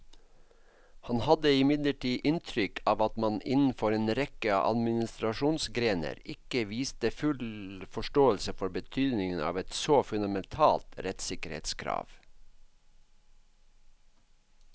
Han hadde imidlertid inntrykk av at man innenfor en rekke administrasjonsgrener ikke viste full forståelse for betydningen av et så fundamentalt rettssikkerhetskrav.